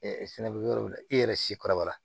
sɛnɛkɛ yɔrɔw la i yɛrɛ si kɔrɔbaya